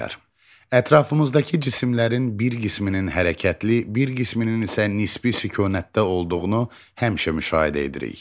Ətrafımızdakı cisimlərin bir qisminin hərəkətli, bir qisminin isə nisbi sükunətdə olduğunu həmişə müşahidə edirik.